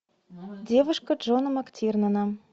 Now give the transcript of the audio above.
девушка джона мактирнана